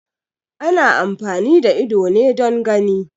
Ana amfani da ido ne don gani